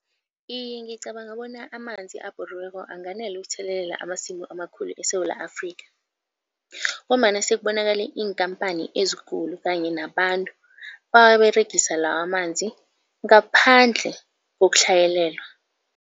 Iye ngicabanga bona amanzi abhoriweko anganela ukuthelelela amasimu amakhulu eSewula Afrikha ngombana sekubonakale iinkampani ezikulu kanye nabantu bawaberegisa lawamanzi ngaphandle kokutlhayelelwa.